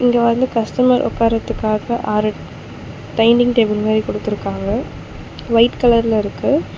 இங்க வந்து கஸ்டமர் உக்காரதுக்காக ஆறு டைனிங் டேபிள் மாரி குடுத்திருக்காங்க ஒயிட் கலர்ல இருக்கு.